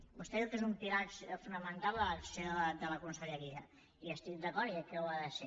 vostè diu que és un pilar fonamental en l’acció de la conselleria hi estic d’acord i crec que ho ha de ser